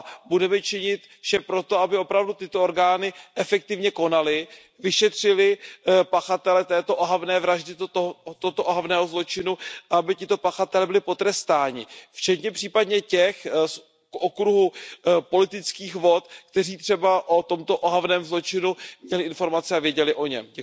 Budeme činit vše pro to, aby opravdu tyto orgány efektivně konaly, vyšetřily pachatele této ohavné vraždy, tohoto ohavného zločinu a aby tito pachatelé byli potrestáni, včetně případně těch z okruhu politických vod, kteří třeba o tomto ohavném zločinu měli informace a věděli o něm.